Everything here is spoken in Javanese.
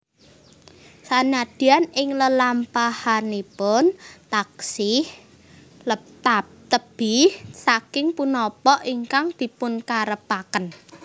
Sanadyan ing lelampahanipun taksih tebih saking punapa ingkang dipunkarepaken